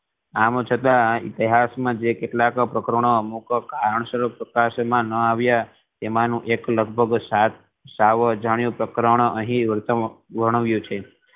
આમ છતા ઇતિહાસ માં જે કેટલા પ્રકરણો અમુક કારણસર પ્રકાશવામા ના આવ્યા એમા નું એક લગભગ સાવ અજાણ્યુ પ્રકરણ અહી વર્ણવ્યુ છે